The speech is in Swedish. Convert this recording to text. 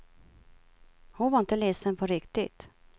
Hon var inte ledsen på riktigt.